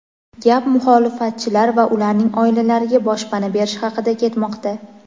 gap muxolifatchilar va ularning oilalariga boshpana berish haqida ketmoqda.